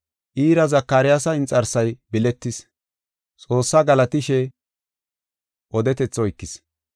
Iira Zakaryaasa inxarsay biletis, Xoossaa galatishe odetethi oykis.